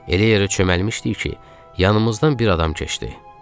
Elə yerə çöməlmişdik ki, yanımızdan bir adam keçdi.